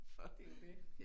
For det det